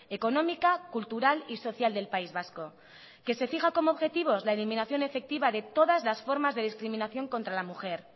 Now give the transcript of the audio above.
económica cultural y social del país vasco que se fija como objetivos la eliminación efectiva de todas las formas de discriminación contra la mujer